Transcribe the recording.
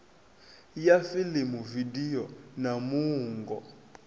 ya fiḽimu vidio na muungo